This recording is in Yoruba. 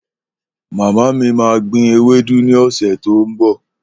Mama mi máa gbìn Ewédú ní ọ̀sẹ̀ tí ó ń bò.